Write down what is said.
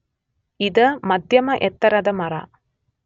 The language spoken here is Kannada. ಇದ ಮದ್ಯಮ ಎತ್ತರದ ಮರ